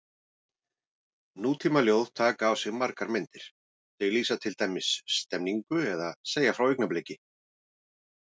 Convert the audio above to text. Nútímaljóð taka á sig margar myndir, þau lýsa til dæmis stemningu eða segja frá augnabliki.